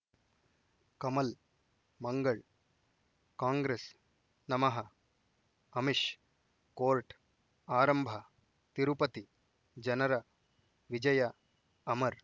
ಕಮಲ್ ಮಂಗಳ್ ಕಾಂಗ್ರೆಸ್ ನಮಃ ಅಮಿಷ್ ಕೋರ್ಟ್ ಆರಂಭ ತಿರುಪತಿ ಜನರ ವಿಜಯ ಅಮರ್